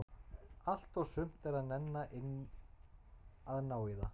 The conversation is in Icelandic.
Allt og sumt er að nenna inn að ná í það.